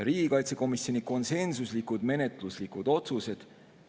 Riigikaitsekomisjon on teinud konsensuslikud menetluslikud otsused.